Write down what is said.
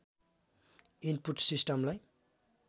input सिस्टमलाई